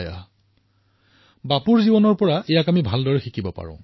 এয়া বাপুৰ জীৱনৰ পৰা আমি ভালদৰেই শিকিব পাৰো